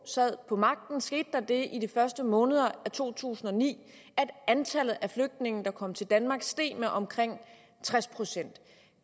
sad på magten skete der det i de første måneder af to tusind og ni at antallet af flygtninge der kom til danmark steg med omkring tres procent